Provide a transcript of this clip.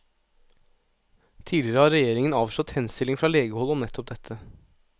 Tidligere har regjeringen avslått henstillinger fra legehold om nettopp dette.